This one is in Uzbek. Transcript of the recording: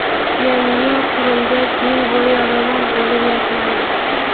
yangi yo‘l qurilgach yil bo‘yi remont bo‘lib yotmaydi.